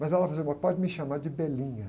Mas ela falou assim, agora pode me chamar de.